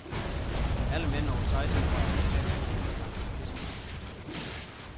Alle mænd over seksten år er automatisk under mistanke for krigsforbrydelser.